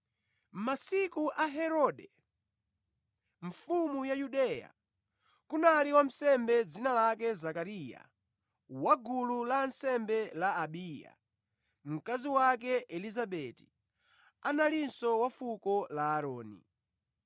Mʼmasiku a Herode, mfumu ya Yudeya, kunali wansembe dzina lake Zakariya wa gulu la ansembe la Abiya; mkazi wake Elizabeti analinso wa fuko la Aaroni.